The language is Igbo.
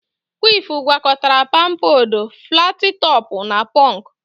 Kwif gwakọtara pampadọ, flatị tọpụ na pọnk